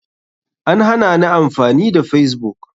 An hanani amfani da facebook.